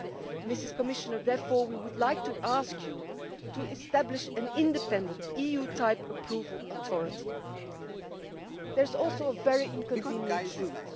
Madam Commissioner, therefore we would like to ask you to establish an independent EU type approval authority. There is also a very inconvenient truth.